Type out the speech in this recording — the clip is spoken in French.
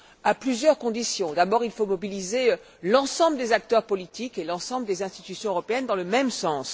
À cela, il y a plusieurs conditions d'abord, il faut mobiliser l'ensemble des acteurs politiques et l'ensemble des institutions européennes dans le même sens.